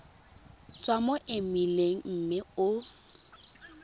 tswa mo emeileng mme o